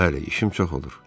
Bəli, işim çox olur.